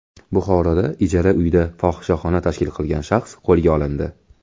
Buxoroda ijara uyda fohishaxona tashkil qilgan shaxs qo‘lga olindi.